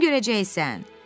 Özün görəcəksən!